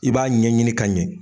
I b'a ɲɛ ɲini ka ɲɛ.